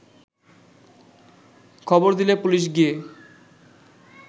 খবর দিলে পুলিশ গিয়ে